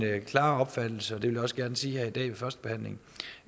klare opfattelse og det vil jeg også gerne sige her i dag ved førstebehandlingen